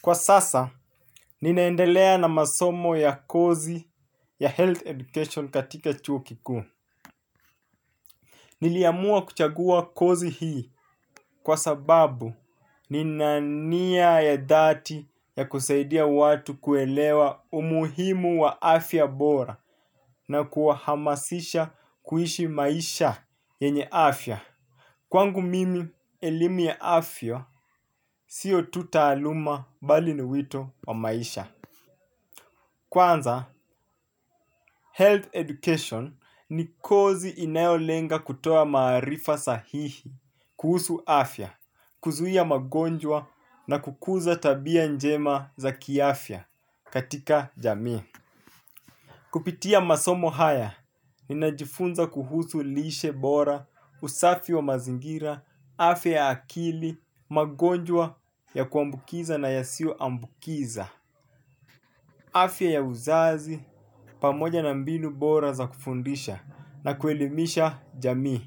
Kwa sasa, ninaendelea na masomo ya kozi ya health education katika chuo kikuu. Niliamua kuchagua kozi hii kwa sababu ninania ya dhati ya kusaidia watu kuelewa umuhimu wa afya bora na kuahamasisha kuishi maisha yenye afya. Kwangu mimi, elimu ya afya, sio tu taaluma bali niwito wa maisha. Kwanza, health education ni kozi inayolenga kutoa maarifa sahihi, kuhusu afya, kuzuhia magonjwa na kukuza tabia njema za kiafya katika jami. Kupitia masomo haya, ninajifunza kuhusu lishe bora, usafi wa mazingira, afya ya akili, magonjwa ya kuambukiza na yasio ambukiza. Afya ya uzazi pamoja na mbinu bora za kufundisha na kuelimisha Jamii.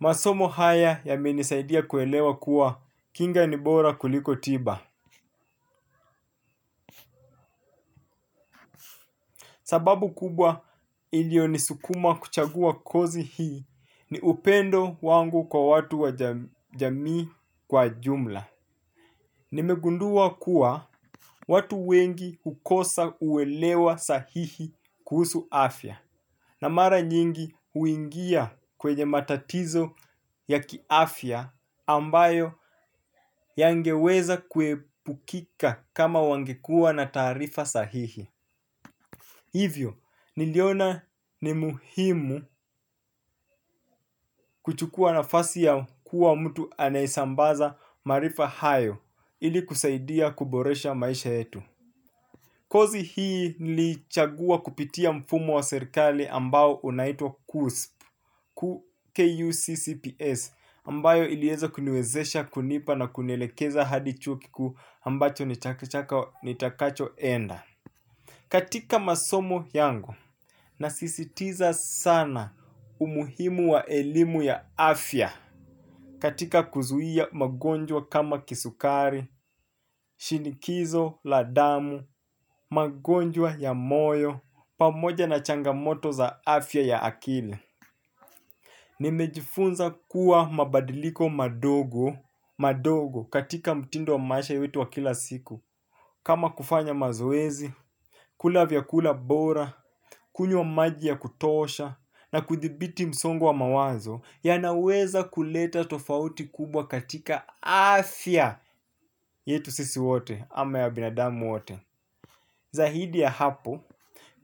Masomo haya yamenisaidia kuelewa kuwa kinga ni bora kuliko tiba. Sababu kubwa ilio nisukuma kuchagua kozi hii ni upendo wangu kwa watu wa jamii kwa jumla. Nimegundua kuwa watu wengi hukosa uelewa sahihi kuhusu afya. Na mara nyingi huingia kwenye matatizo ya kiafya ambayo yangeweza kuepukika kama wangekua na taarifa sahihi. Hivyo, niliona ni muhimu kuchukua nafasi ya kuwa mtu anaye sambaza maarifa hayo ili kusaidia kuboresha maisha yetu. Kozi hii nili ichagua kupitia mfumo wa serikali ambao unaitwa KUSP, KUCCPS, ambayo ilieza kuniwezesha kunipa na kunielekeza hadi chuo kikuu ambacho nitakacho enda. Katika masomo yangu nasisitiza sana umuhimu wa elimu ya afya katika kuzuia magonjwa kama kisukari shinikizo, ladamu, magonjwa ya moyo, pamoja na changamoto za afya ya akili. Nimejifunza kuwa mabadiliko madogo katika mtindo wa maisha wetu wa kila siku kama kufanya mazoezi, kulavyakula bora, kunyww maji ya kutosha na kuthibiti msongo wa mawazo ya naweza kuleta tofauti kubwa katika afya yetu sisi wote ama ya binadamu wote. Zahidi ya hapo,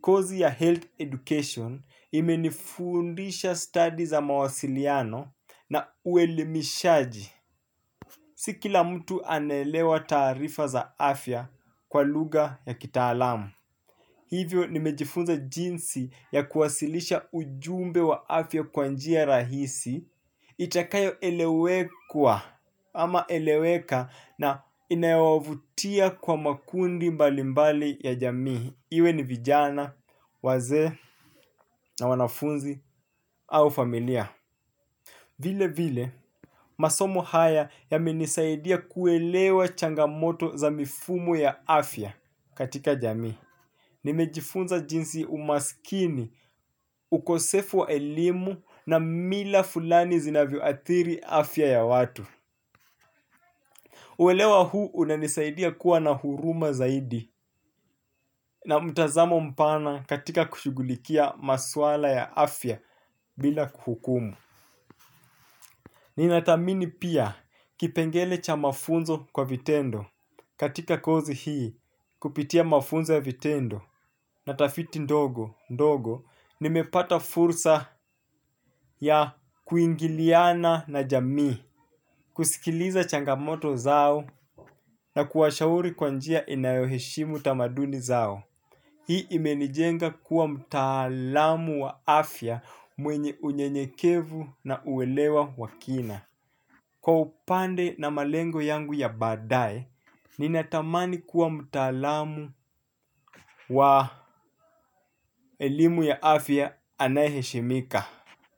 kozi ya health education imenifundisha study za mawasiliano na uelimishaji. Si kila mtu anelewa taarifa za afya kwa luga ya kitaalamu. Hivyo nimejifunza jinsi ya kuwasilisha ujumbe wa afya kwa njia rahisi ili itakayo elewekwa ama eleweka na inayo wavutia kwa makundi mbalimbali ya jamii. Iwe ni vijana, wazee na wanafunzi au familia. Vile vile, masomo haya yamenisaidia kuelewa changamoto za mifumo ya afya katika jami. Nimejifunza jinsi umaskini, ukosefu wa elimu na mila fulani zinavyo athiri afya ya watu. Uelewa huu unanisaidia kuwa na huruma zaidi na mtazamo mpana katika kushugulikia maswala ya afya bila kuhukumu. Ninathamini pia kipengele cha mafunzo kwa vitendo katika kozi hii kupitia mafunzo ya vitendo. Natafiti ndogo ndogo. Nimepata fursa ya kuingiliana na jami. Kusikiliza changamoto zao na kuwashauri kwanjia inayoheshimu tamaduni zao. Hii imenijenga kuwa mtaalamu wa afya mwenye unyenyekevu na uelewa wa kina. Kwa upande na malengo yangu ya baadae, ninatamani kuwa mtaalamu wa elimu ya afya anayeheshimika.